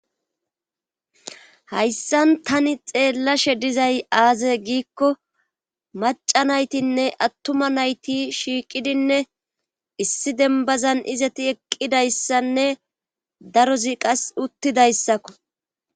hayssan tani xeellashe dizay aaze giikko maca naytinne attuma nayti shiiqidinne issi dembazan izati eqqidayssanne darozi qas uttidayssakko